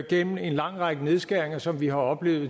gennem en lang række nedskæringer som vi har oplevet